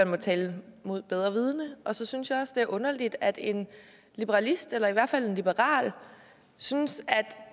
må tale mod bedre vidende og så synes jeg også det er underligt at en liberalist eller i hvert fald en liberal synes